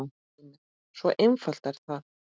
Heimir: Svo einfalt er það?